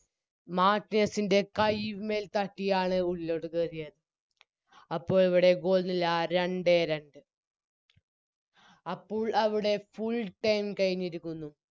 മാർട്ടിനെസിൻറെ കൈമ്മേ തട്ടിയാണ് ഉള്ളിലോട്ട് പോയത് അപ്പോൾ അവിടെ Goal നില രണ്ടേ രണ്ട് അപ്പോൾ അവിടെ Full time കഴിഞ്ഞിരിക്കുന്നു